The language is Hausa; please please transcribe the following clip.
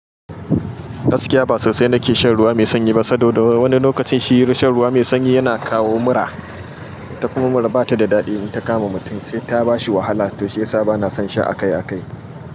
Gaskiya ba sosai nake shan ruwa mai sanyi ba, saboda wani lokacin shi shan ruwa mai sanyi yana kawo mura, ita kuma mura bata da daɗi in ta kama mutum sai ta bashi wahala. Toh shiyasa bana son sha akai akai.